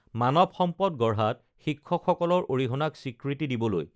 মানৱ সম্পদ গঢ়াত শিক্ষক সকলৰ অৰিহণাক স্বীকৃতি দিবলৈ